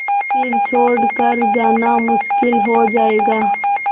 फिर छोड़ कर जाना मुश्किल हो जाएगा